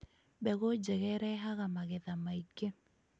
Mbegũ njega ĩrehaga magetha maingĩ.